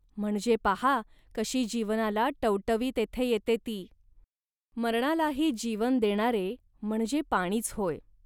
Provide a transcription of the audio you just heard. म्हणजे पाहा कशी जीवनाला टवटवी तेथे येते ती. मरणालाही जीवन देणारे म्हणजे पाणीच होय